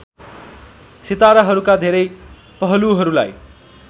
सिताराहरूका धेरै पहलुहरूलाई